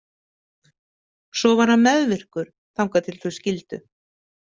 Svo var hann meðvirkur þangað til þau skildu.